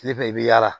Ne fɛnɛ i bi yaala